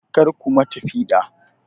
Karku ma ta piɗa!